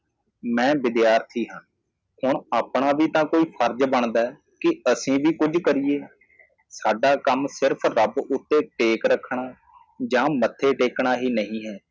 ਮੈ ਵਿਦਿਆਰਥੀ ਹਾਂ ਹੁਣ ਆਪਣਾ ਵੀ ਤਾਂ ਕੋਈ ਫਰਜ਼ ਬਣਦਾ ਹੈ ਕਿ ਅਸੀਂ ਵੀ ਕੁਝ ਕਰੀਏ ਸਾਡਾ ਕੰਮ ਸਿਰਫ਼ ਰੱਬ ਉਤੇ ਟੇਕ ਰੱਖਣਾ ਯਾ ਮੱਥੇ ਟੇਕਣਾ ਹੀ ਨਹੀ ਹੈ